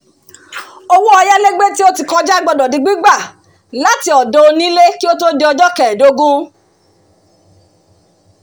owó ayálégbé tí ó ti kọjá gbọ́dọ̀ di gbígbà láti ọ̀dọ̀ onílé kí ó tó di ọjọ́ kẹẹ̀dógún